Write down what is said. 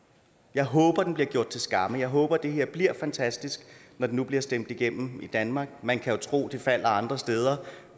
jeg håber den bliver gjort til skamme jeg håber det her bliver fantastisk når det nu bliver stemt igennem i danmark man kan jo tro det falder andre steder